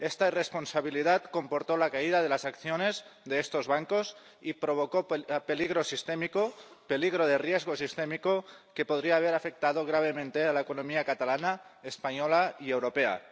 Esta irresponsabilidad comportó la caída de las acciones de estos bancos y provocó un peligro de riesgo sistémico que podría haber afectado gravemente a la economía catalana, española y europea.